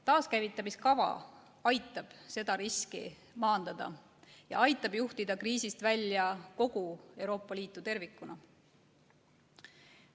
Taaskäivitamiskava aitab seda riski maandada ja aitab juhtida kriisist välja kogu Euroopa Liitu tervikuna.